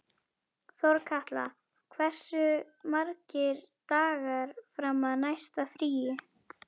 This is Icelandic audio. Þorkatla, hversu margir dagar fram að næsta fríi?